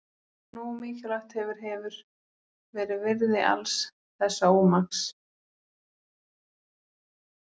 Eitthvað nógu mikilvægt hefur hefur verið virði alls þessa ómaks.